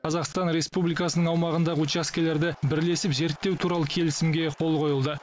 қазақстан республикасының аумағындағы учаскелерді бірлесіп зерттеу туралы келісімге қол қойылды